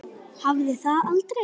Hafði það aldrei.